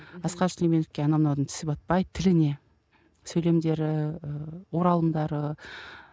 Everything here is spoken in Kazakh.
асқар сүлейменовке анау мынаудың тісі батпайды тіліне сөйлемдері ы оралымдары